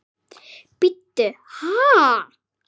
Bíddu bíddu ha?